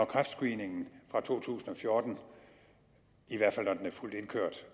kræftscreeningen fra to tusind og fjorten i hvert fald når den er fuldt indkørt